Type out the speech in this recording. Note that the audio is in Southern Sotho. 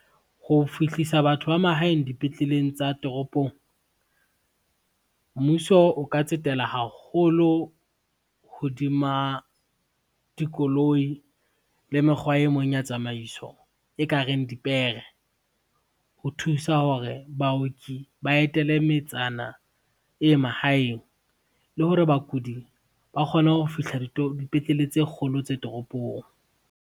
Ho fihlisa batho ba mahaeng dipetleleng tsa toropong, mmuso o ka tsetela haholo hodima dikoloi le mekgwa e mong ya tsamaiso, e ka reng dipere. Ho thusa hore baoki ba etele metsana e mahaeng, le hore bakudi ba kgone ho fihla dipetlele tse kgolo tse toropong.